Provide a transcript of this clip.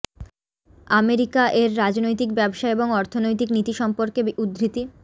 America এর রাজনৈতিক ব্যবসা এবং অর্থনৈতিক নীতি সম্পর্কে উদ্ধৃতি